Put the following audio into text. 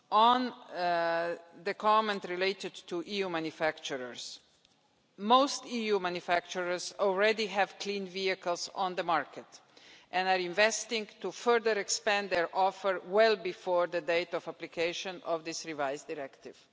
On the comment related to EU manufacturers, most EU manufacturers already have clean vehicles on the market and are investing to further expand their offer well before the date of application of this revised directive.